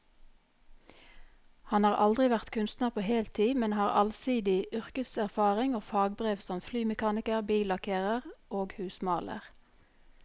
Han har aldri vært kunstner på heltid, men har allsidig yrkeserfaring og fagbrev som flymekaniker, billakkerer og husmaler.